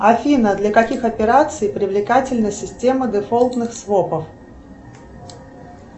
афина для каких операций привлекательна система дефолтных свопов